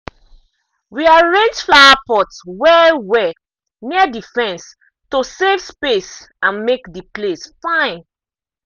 we arrange flowerpots well-well near the fence to save space and make the place fine.